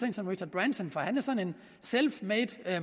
en som richard branson for han er sådan en selfmade